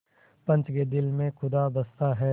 पंच के दिल में खुदा बसता है